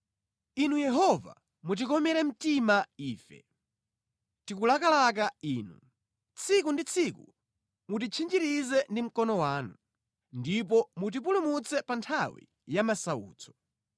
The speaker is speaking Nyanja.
Inu Yehova, mutikomere mtima ife; tikulakalaka Inu. Tsiku ndi tsiku mutitchinjirize ndi mkono wanu, ndipo mutipulumutse pa nthawi ya masautso.